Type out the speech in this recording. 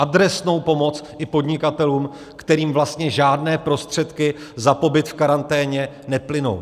Adresnou pomoc i podnikatelům, kterým vlastně žádné prostředky za pobyt v karanténě neplynou.